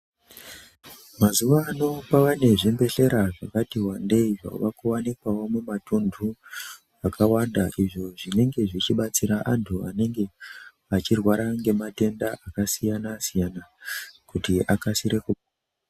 Mazuwaano kwavanezvibhedhkera zvakati wandei zvavakuwanikwawo mumatundu akawanda izvi zvinenge zvichibatsira antu anenge achirwara ngematenda akasiyana siyana kuti akasire kupora.